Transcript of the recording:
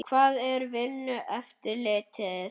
Hvar er Vinnueftirlitið?